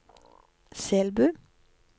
Selbu